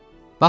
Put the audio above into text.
Baxın!